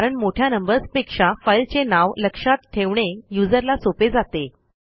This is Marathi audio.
कारण मोठ्या नंबर्सपेक्षा फाईलचे नाव लक्षात ठेवणे userला सोपे जाते